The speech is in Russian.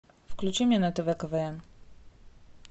включи мне на тв квн